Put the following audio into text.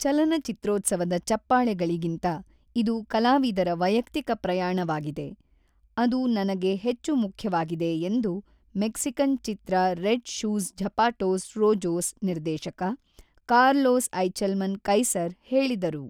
ಚಲನಚಿತ್ರೋತ್ಸವದ ಚಪ್ಪಾಳೆಗಳಿಗಿಂತ ಇದು ಕಲಾವಿದರ ವೈಯಕ್ತಿಕ ಪ್ರಯಾಣವಾಗಿದೆ, ಅದು ನನಗೆ ಹೆಚ್ಚು ಮುಖ್ಯವಾಗಿದೆ ಎಂದು ಮೆಕ್ಸಿಕನ್ ಚಿತ್ರ ರೆಡ್ ಶೂಸ್ ಝಪಾಟೋಸ್ ರೋಜೋಸ್ ನಿರ್ದೇಶಕ ಕಾರ್ಲೋಸ್ ಐಚೆಲ್ಮನ್ ಕೈಸರ್ ಹೇಳಿದರು.